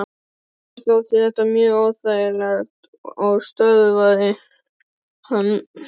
Mér þótti þetta mjög óþægilegt og stöðvaði hann.